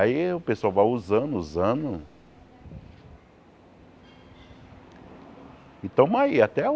Aí o pessoal vai usando, usando... E estamos aí, até hoje.